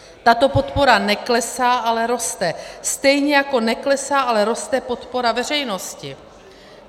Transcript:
Tato podpora neklesá, ale roste, stejně jako neklesá, ale roste podpora veřejnosti.